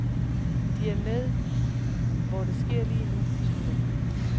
De er med, hvor det sker lige nu, slutter han.